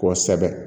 Kɔsɛbɛ